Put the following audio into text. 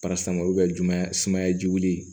olu bɛ juma sumaya jugu ye